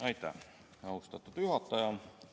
Aitäh, austatud juhataja!